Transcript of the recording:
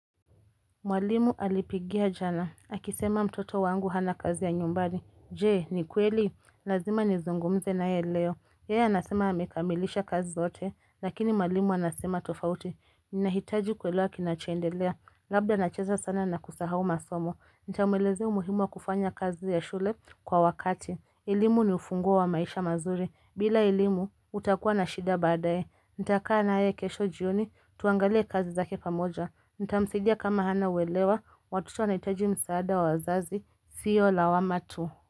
Mwalimu alipigia jana. Akisema mtoto wangu hana kazi ya nyumbani. Je, ni kweli? Lazima nizungumze naye leo. Yeye anasema amekamilisha kazi zote lakini mwalimu anasema tofauti. Ninahitaji kuelewa kinachoendelea. Labda nacheza sana na kusahau masomo. Nitamwelezea umuhimu wa kufanya kazi ya shule kwa wakati. Elimu ni ufunguo wa maisha mazuri. Bila elimu, utakuwa na shida baadaye. Nitakaa naye kesho jioni, tuangalie kazi zake pamoja. Nitamsaidia kama hana uelewa, watoto wanahitaji msaada wa wazazi. Sio lawama tu.